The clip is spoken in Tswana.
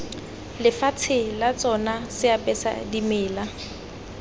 lefatshe la tsona seapesa dimela